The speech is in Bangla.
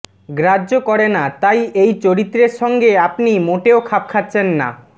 গ্রাহ্য করেনা তাই এই চরিত্রের সঙ্গে আপনি মোটেও খাপ খাচ্ছেন না